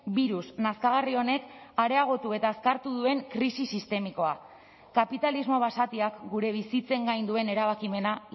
birus nazkagarri honek areagotu eta azkartu duen krisi sistemikoa kapitalismo basatiak gure bizitzen gain duen erabakimena